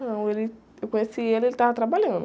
Não, ele, eu conheci ele, ele estava trabalhando.